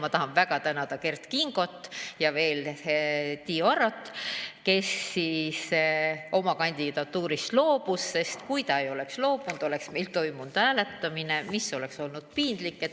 Ma tahan väga tänada Kert Kingot ja veel Tiiu Arot, kes oma kandidatuurist loobus, sest kui ta ei oleks loobunud, oleks meil toimunud hääletamine, mis oleks olnud piinlik.